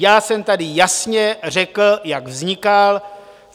Já jsem tady jasně řekl, jak vznikal.